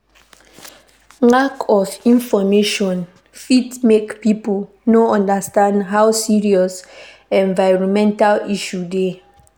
Lack of information fit make pipo no understand how serious environmental issue dey